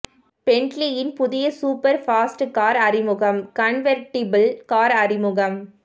பென்ட்லீயின் புதிய super fast car அறிமுகம் convertible car அறிமுகம்